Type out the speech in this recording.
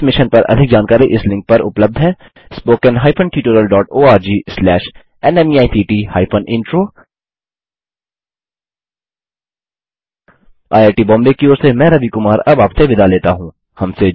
इस मिशन पर अधिक जानकारी इस लिंक पर उपलब्ध है httpspoken tutorialorgNMEICT Intro IIT Bombay की ओर से मैं रवि कुमार अब आप से विदा लेता हूँ